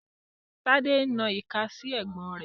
Tade n na ika si ẹgbon re